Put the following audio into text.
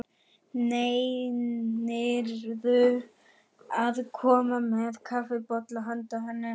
Nennirðu að koma með kaffibolla handa henni